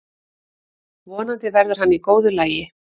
Vonandi verður hann í góðu lagi.